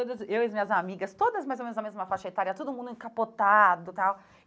Todas Eu e as minhas amigas, todas mais ou menos da mesma faixa etária, todo mundo encapotado e tal.